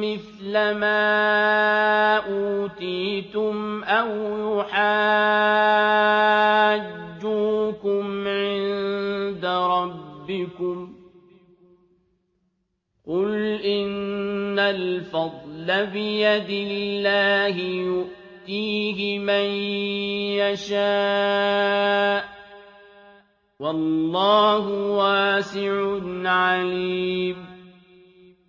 مِّثْلَ مَا أُوتِيتُمْ أَوْ يُحَاجُّوكُمْ عِندَ رَبِّكُمْ ۗ قُلْ إِنَّ الْفَضْلَ بِيَدِ اللَّهِ يُؤْتِيهِ مَن يَشَاءُ ۗ وَاللَّهُ وَاسِعٌ عَلِيمٌ